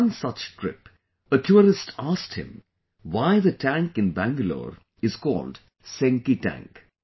On one such trip, a tourist asked him why the tank in Bangalore is called Senki Tank